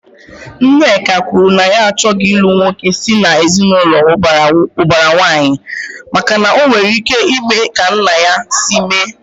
Nneka kwuru na ya achọghị ilu nwoke si na ezinaụlọ ubara nwanyi, maka na ọ nwere ike ime ka nna ya si mee